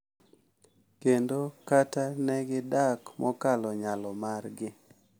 Kendo kata ne gidak mokalo nyalo margi.